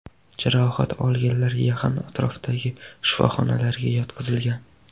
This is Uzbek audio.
Jarohat olganlar yaqin atrofdagi shifoxonalarga yotqizilgan.